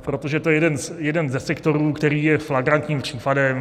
protože to je jeden ze sektorů, který je flagrantním případem.